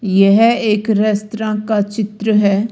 यह एक रेस्तरां का चित्र है।